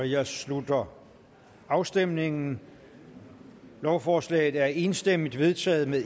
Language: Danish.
jeg slutter afstemningen lovforslaget er enstemmigt vedtaget med